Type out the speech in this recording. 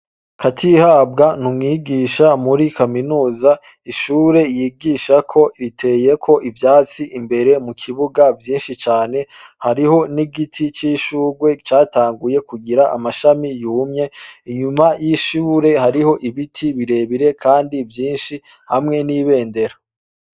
KATIHABWA ni umwigisha muri kaminuza. Ishure yigishako riteyeko ivyatsi imbere mu kibuga vyinshi cane. Hariho n'igiti c'ishurwe catanguye kugira amashami yumye. Inyuma y'ishure, hariho ibiti birebire kandi vyinshi hamwe n'ibendera.